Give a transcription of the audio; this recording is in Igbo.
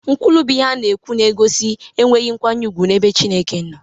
Nkwulu bụ ihe a na-ekwu na-egosi enweghị nkwanye ùgwù n'ebe Chineke nọ.